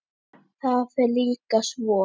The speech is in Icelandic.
Það fer líka svo.